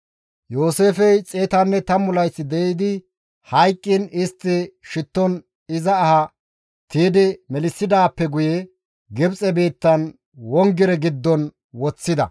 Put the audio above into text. Yooseefey 110 layth de7idi hayqqiin, istti shitton iza aha tiydi melissidaappe guye Gibxe biittan wongire giddon woththida.